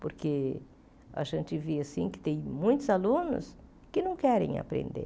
Porque a gente vê, assim, que tem muitos alunos que não querem aprender.